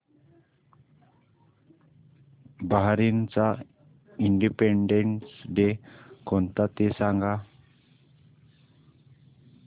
बहारीनचा independence day कोणता ते सांगा